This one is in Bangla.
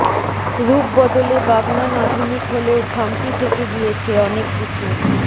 রূপ বদলে বাগনান আধুনিক হলেও খামতি থেকে গিয়েছে অনেক কিছুর